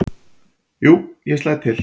"""Jú, ég slæ til"""